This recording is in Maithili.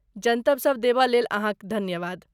जनतब सब देबय लेल अहाँकेँ धन्यवाद।